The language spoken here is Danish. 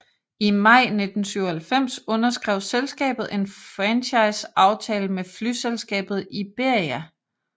I maj 1997 underskrev selskabet en franchise aftale med flyselskabet Iberia